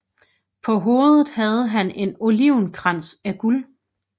På hovedet havde han en olivenkrans af guld